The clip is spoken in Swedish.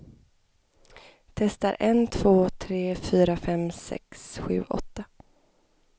Testar en två tre fyra fem sex sju åtta.